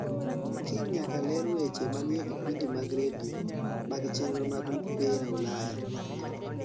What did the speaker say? kal nyaka ler weche manie vipindi mag radio mag chenro mag mpira ulaya